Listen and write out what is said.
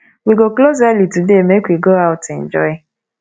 we go close early today make make we go out enjoy